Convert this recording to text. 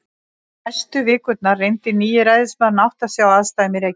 Næstu vikurnar reyndi nýi ræðismaðurinn að átta sig á aðstæðum í Reykjavík.